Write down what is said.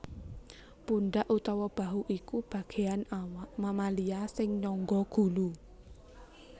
Pundhak utawa Bahu iku bagéan awak mamalia sing nyangga gulu